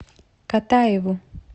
катаеву